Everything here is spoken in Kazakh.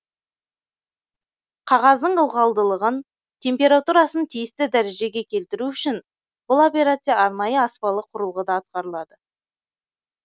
қағаздың ылғалдылығын температурасын тиісті дәрежеге келтіру үшін бұл операция арнайы аспалы құрылғыда атқарылады